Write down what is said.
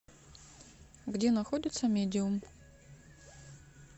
где находится медиум